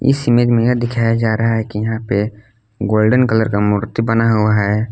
इसमें यह दिखाया जा रहे है कि यहां पे गोल्डन कलर की मूर्ति बना हुआ है।